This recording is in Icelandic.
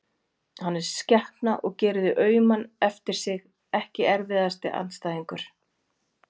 Hann er skepna og gerir þig auman eftir sig Ekki erfiðasti andstæðingur?